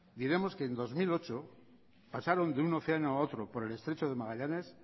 diremos que en dos mil ocho pasaron de un océano a otro por el estrecho de magallanes